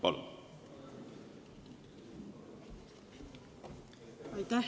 Palun!